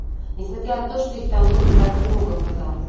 несмотря на то что их там было так много казалось